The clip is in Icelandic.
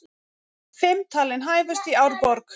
Fimm talin hæfust í Árborg